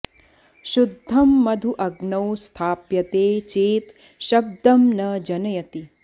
शुद्धं मधु अग्नौ स्थाप्यते चेत् शब्दं न जनयति